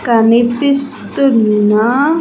కనిపిస్తున్నా.